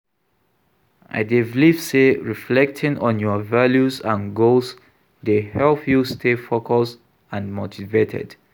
I dey believe say reflecting on your values and goals dey help you stay focused and motivated.